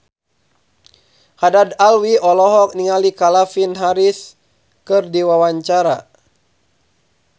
Haddad Alwi olohok ningali Calvin Harris keur diwawancara